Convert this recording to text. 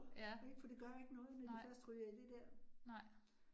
Ja. Nej. Nej